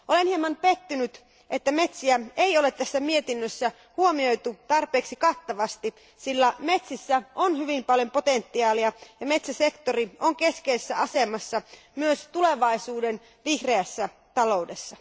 Olen hieman pettynyt, ettei metsiä ole tässä mietinnössä huomioitu tarpeeksi kattavasti, sillä metsissä on hyvin paljon potentiaalia ja metsäsektori on keskeisessä asemassa myös tulevaisuuden vihreässä taloudessa.